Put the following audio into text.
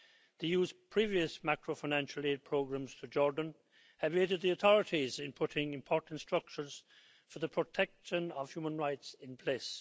The EU's previous macro financial aid programmes to Jordan have aided the authorities in putting important structures for the protection of human rights in place.